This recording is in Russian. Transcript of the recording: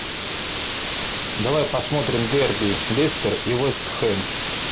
давай посмотрим дерби лестер и вест хэм